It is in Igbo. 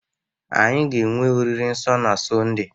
anyị ga-enwe oriri nsọ na Sọnde